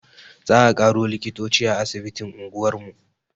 Za a ƙaro likitoci a asibitin unguwar mu